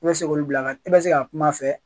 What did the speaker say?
E bɛ se k'olu bila ka na i bɛ se ka kuma a fɛ.